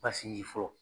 Ba sinji fɔlɔ